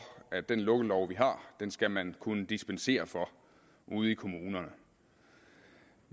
at den lukkelov vi har skal man kunne dispensere fra ude i kommunerne